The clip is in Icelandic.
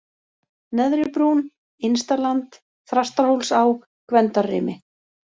Neðri brún, Innstaland, Þrastarhólsá, Gvendarrimi